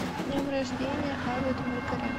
с днем рождения авет маркарян